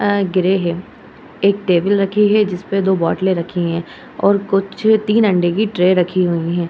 आ ग्रे हैं आ एक टेबल रखी हैं जिसमें दो बोटले रखी हैं और कुछ तीन अंडे की ट्रे रखी हुई हैं।